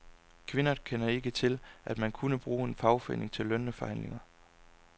Kvinderne kender ikke til, at man kunne bruge en fagforening til lønforhandlinger.